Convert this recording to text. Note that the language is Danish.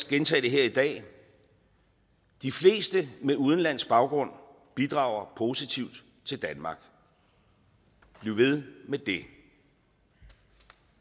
gentage det her i dag de fleste med udenlandsk baggrund bidrager positivt til danmark bliv ved med det